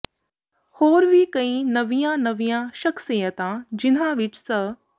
ਹੋਰ ਵੀ ਕਈ ਨਵੀਆਂ ਨਵੀਆਂ ਸ਼ਖਸੀਅਤਾਂ ਜਿਨ੍ਹਾਂ ਵਿੱਚ ਸ